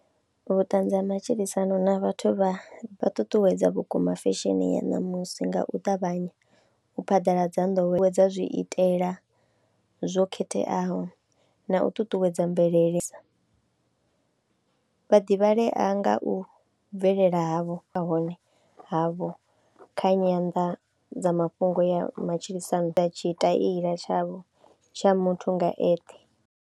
Vhuṱanzi ha matshilisano na vhathu vha ṱuṱuwedza vhukuma fesheni ya ṋamusi nga u ṱavhanya u phaḓaladza ndowelo dza zwiitela zwo khetheaho na u ṱuṱuwedza mvelele sa, vhaḓivhalea nga u bvelela havho a hone havho kha nyanḓadzamafhungo ya matshilisano a tshitaila tshavho tsha muthu nga eṱhe.